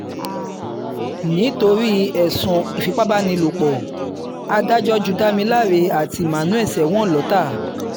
nítorí ẹ̀sùn ìfipábánilòpọ̀ adájọ́ ju damiláre àti emmanuel sẹ́wọ̀n lọ́tà